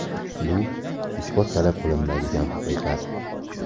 Bu isbot talab qilinmaydigan haqiqat.